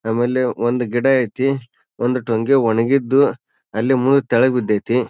ನಮ್ಮಲ್ಲಿ ಒಂದು ಗಿಡ ಐತಿ. ಒಂದು ಟೊಂಗೆ ಒಣಗಿದ್ದು ಅಲ್ಲಿ ಮುರಿದು ಕೆಳ ಬಿದ್ದ ಐತಿ.